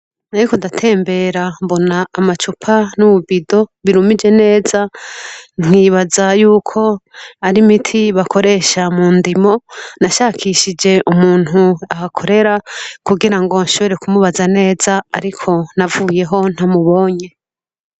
Nariko ndatembera mbona amacupa n'ububido birumije neza nkibaza yuko ari imiti bakoresha mu ndimo, nashakishije umuntu ahakorera kugira ngo nshobore kumubaza neza ariko navuyeho ntamubonye.